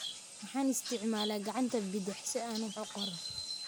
Waxaan isticmaalaa gacanta bidix si aan wax u qoro.